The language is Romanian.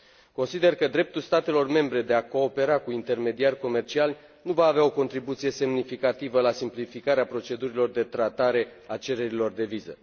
Consider că dreptul statelor membre de a coopera cu intermediari comerciali nu va avea o contribuție semnificativă la simplificarea procedurilor de tratare a cererilor de viză.